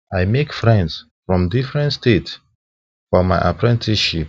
i make friends from different states for my apprenticeship